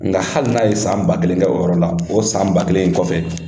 Nka hali n'a ye san ba kelen kɛ o yɔrɔ la o san ba kelen in kɔfɛ.